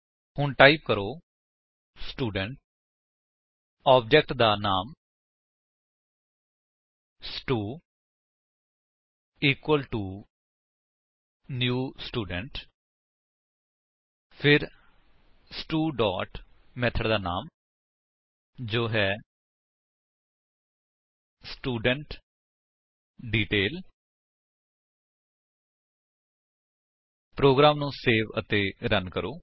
ਹੁਣ ਟਾਈਪ ਕਰੋ student object ਦਾ ਨਾਮ stu equal to new student ਫਿਰ ਸਟੂ ਡੋਟ ਮੇਥਡ ਦਾ ਨਾਮ ਜੋ ਹੈ ਸਟੂਡੈਂਟਡੀਟੇਲ ਪ੍ਰੋਗਰਾਮ ਨੂੰ ਸੇਵ ਅਤੇ ਰਨ ਕਰੋ